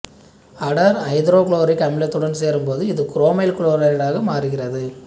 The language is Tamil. அடர் ஐதரோகுளோரிக் அமிலத்துடன் சேரும்போது இது குரோமைல் குளோரைடாக மாறுகிறது